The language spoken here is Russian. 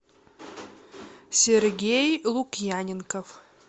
сергей лукьяненков